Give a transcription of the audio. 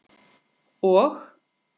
Og?